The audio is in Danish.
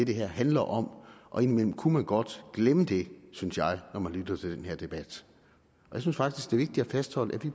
det her handler om indimellem kunne man godt glemme det synes jeg når man lytter til den her debat jeg synes faktisk det er vigtigt at fastholde